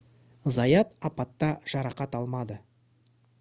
заят апатта жарақат алмады